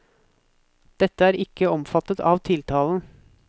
Dette er ikke omfattet av tiltalen.